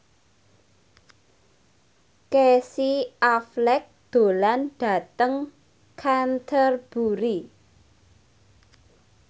Casey Affleck lunga dhateng Canterbury